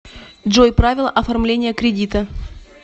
джой правила оформления кредита